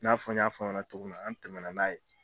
N'a fɔ n y'a f'a ɲana cogo min na, an tɛmɛna n'a ye.